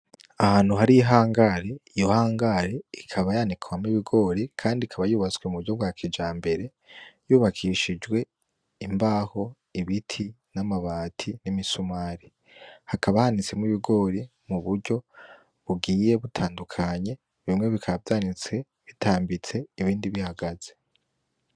Ahantu hari ihangare, iyo hangare ikaba yanikwamwo ibigori kandi ikaba yubatswe mu buryo bwa kijambere yubakishijwe imbaho; ibiti; n'amabati; n'imisumari. Hakaba hanitsemo ibigori mu buryo bugiye butandukanye, bimwe bikaba vyanitse bitambitse ibindi bihagaze.